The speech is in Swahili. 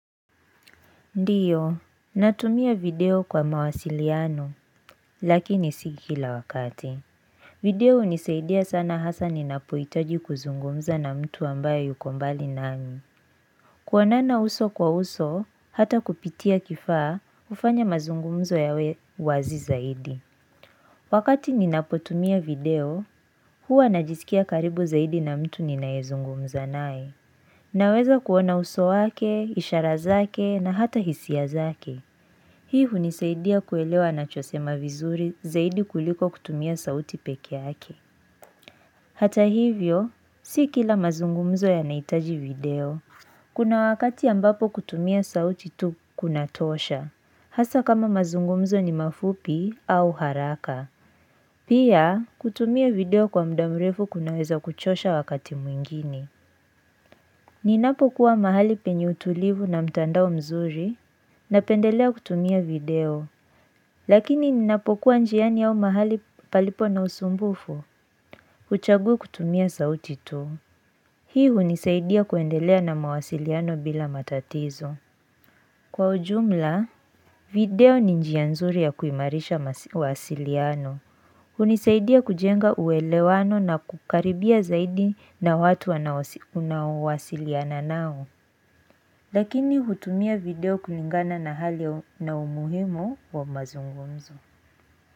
Ndio, natumia video kwa mawasiliano, lakini sio kila wakati. Video hunisaidia sana hasa ninapuhitaji kuzungumza na mtu ambaye yuko mbali nami. Kuonana uso kwa uso, hata kupitia kifaa, hufanya mazungumzo yawe wazi zaidi. Wakati ninapotumia video, huwa najisikia karibu zaidi na mtu ninayezungumza naye. Naweza kuona uso wake, ishara zake, na hata hisia zake. Hii hunisaidia kuelewa anachosema vizuri zaidi kuliko kutumia sauti peki yake. Hata hivyo, si kila mazungumzo yanahitaji video. Kuna wakati ambapo kutumia sauti tu kunatosha. Hasa kama mazungumzo ni mafupi au haraka. Pia, kutumia video kwa muda mrefu kunaweza kuchosha wakati mwingine. Ninapokuwa mahali penye utulivu na mtandao mzuri. Napendelea kutumia video. Lakini ninapokuwa njiani au mahali palipo na usumbufu, huchagua kutumia sauti tu. Hii hunisaidia kuendelea na mawasiliano bila matatizo. Kwa ujumla, video ni njia nzuri ya kuimarisha mawasiliano. Hunisaidia kujenga uwelewano na kukaribia zaidi na watu unawasiliana nao. Lakini hutumia video kulingana na hali na umuhimu wa mazungumzo.